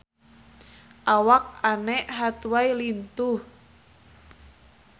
Awak Anne Hathaway lintuh